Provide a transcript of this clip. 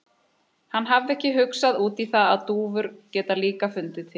Hann hafði ekki hugsað út í það að dúfur geta líka fundið til.